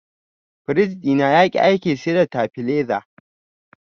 Firij ɗina yaƙi aiki sai da tabileza.